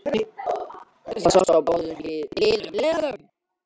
Það sást á báðum liðum